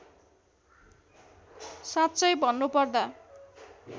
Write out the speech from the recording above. साँच्चै भन्नुपर्दा